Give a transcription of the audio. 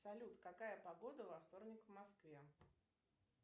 салют какая погода во вторник в москве